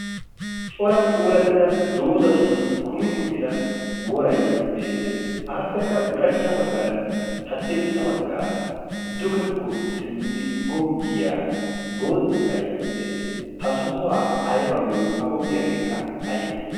cora puulattida doozatun kumi uttida woray beettees aappekka ushachcha baggaaranne haddirssa baggaara dugekko simmidi goggiyaa boottay de'ees ha sohuwaa aybagiyo ha goggiyaageekka aybee